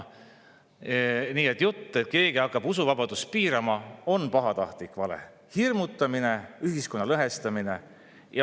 Nii et jutt, et keegi hakkab usuvabadust piirama, on pahatahtlik vale, hirmutamine, ühiskonna lõhestamine.